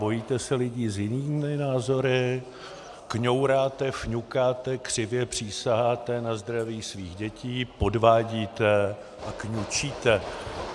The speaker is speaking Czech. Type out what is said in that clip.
Bojíte se lidí s jinými názory, kňouráte, fňukáte, křivě přísaháte na zdraví svých dětí, podvádíte a kňučíte.